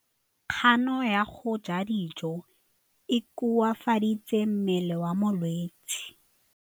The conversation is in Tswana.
Kganô ya go ja dijo e koafaditse mmele wa molwetse.